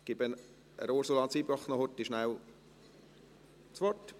– Ich gebe das Wort noch kurz Ursula Zybach.